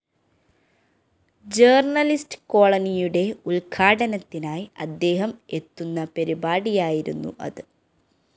journalist കോളനിയുടെ ഉദ്ഘാടനത്തിനായി അദ്ദേഹം എത്തുന്ന പരിപാടിയായിരുന്നു അത്